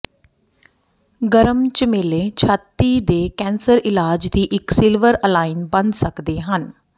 ਗਰਮ ਝਮੇਲੇ ਛਾਤੀ ਦੇ ਕੈਂਸਰ ਇਲਾਜ ਦੀ ਇੱਕ ਸਿਲਵਰ ਅਲਾਈਨ ਬਣ ਸਕਦੇ ਹਨ